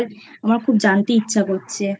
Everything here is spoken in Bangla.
আমার খুব জানতে ইচ্ছা করছে।